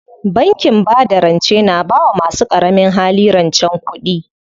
Bankin bada rance na bawa masu ƙaramin hali rancen kuɗi.